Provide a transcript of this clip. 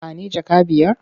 Ba ni jaka biyar?